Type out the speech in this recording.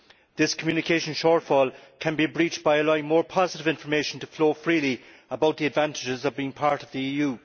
This communication shortfall can be breached by allowing more positive information to flow freely about the advantages of being part of the EU.